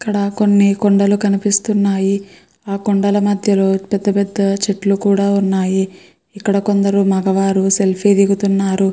ఇక్కడ కొన్ని కొండలు కనిపిస్తున్నాయి ఆ కొండల మధ్యలో పెద్ద పెద్ద చెట్లు కూడ ఉన్నాయి. ఇక్కడ కొందరు మగవారు సెల్ఫీ దిగుతున్నారు.